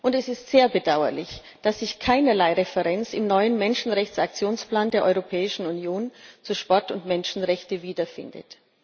Es ist sehr bedauerlich, dass sich keinerlei Referenz im neuen Menschenrechtsaktionsplan der Europäischen Union zu Sport und Menschenrechten wiederfindet.